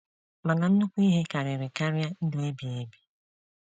Mana nnukwu ihe karịrị karịa ndụ ebighị ebi